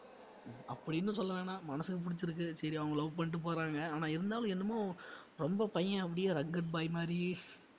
அப்படின்னு சொல்லவேணாம் மனசுக்கு பிடிச்சிருக்கு சரி அவங்க love பண்ணிட்டு போறாங்க ஆனா இருந்தாலும் என்னமோ ரொம்ப பையன் அப்படியே rugged boy மாதிரியே